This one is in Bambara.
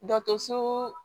Dɔ so